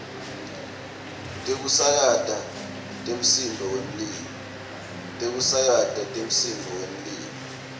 tekusakata temsindvo wemlilo